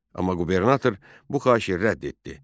Amma qubernator bu xahişi rədd etdi.